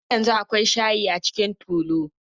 Har yanzu akwai shayi a cikin tulun.